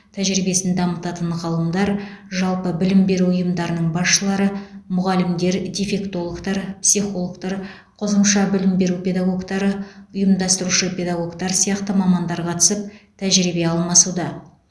тәжірибесін дамытатын ғалымдар жалпы білім беру ұйымдарының басшылары мұғалімдер дефектологтар психологтар қосымша білім беру педагогтары ұйымдастырушы педагогтар сияқты мамандар қатысып тәжірибе алмасуда